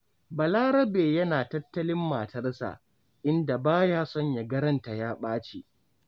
Balarabe yana tattalin matarsa, inda ba ya son ya ga ranta ya ɓaci.